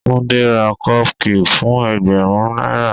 Tunde ra cupcake fún ẹgbẹ̀rún náírà.